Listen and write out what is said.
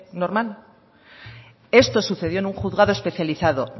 normal esto sucedió en un juzgado especializado